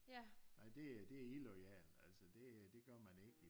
Nej nej det illoyalt altså det øh det gør man ikke